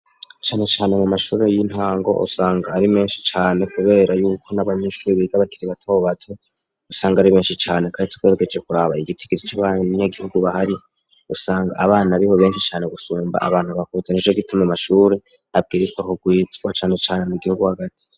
Canecane mu mashuri y'intango usanga ari menshi cane, kubera yuko n'abanyinshuri bigabakirie batobo bato usanga ari menshi cane, kandi tweregeje kuraba igitigiri c'abanya gihugu bahari usanga abana bi ho benshi cane gusumba abantu bakuzani jo gituma mu mashure abwiritwa kugwitswa canecane mu gihugu hagati.